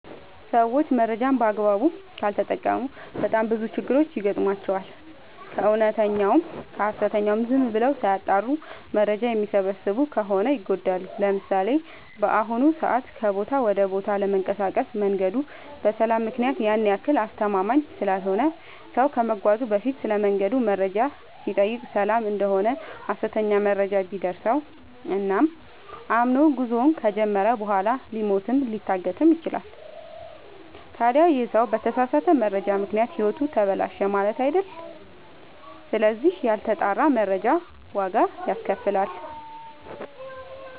ሰዎች መረጃን በአግባቡ ካልተጠቀሙ በጣም ብዙ ችግሮች ይገጥሟቸዋል። ከእውነተኛውም ከሀሰተኛውም ዝም ብለው ሳያጠሩ መረጃ የሚሰበስቡ ከሆነ ይጎዳሉ። ለምሳሌ፦ በአሁኑ ሰዓት ከቦታ ወደ ቦታ ለመንቀሳቀስ መንገዱ በሰላም ምክንያት ያን ያክል አስተማመምኝ ስላልሆነ ሰው ከመጓዙ በፊት ስለመንገዱ መረጃ ሲጠይቅ ሰላም እደሆነ ሀሰተኛ መረጃ ቢደርሰው እና አምኖ ጉዞውን ከጀመረ በኋላ ሊሞትም ሊታገትም ይችላል። ታዲ ይህ ሰው በተሳሳተ መረጃ ምክንያት ህይወቱ ተበላሸ ማለት አይደል ስለዚህ ያልተጣራ መረጃ ዋጋ ያስከፍላል።